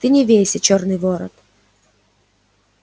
ты не вейся чёрный ворон